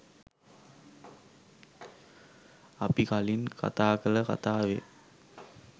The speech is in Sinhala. අපි කලින් කතා කළ කතාවේ